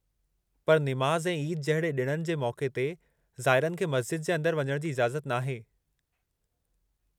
पर निमाज़ ऐं ईद जहिड़े ॾिणनि जे मौक़े ते ज़ाइरनि खे मस्ज़िद जे अंदरि वञण जी इजाज़त नाहे।